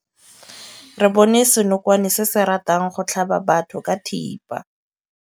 Re bone senokwane se se ratang go tlhaba batho ka thipa.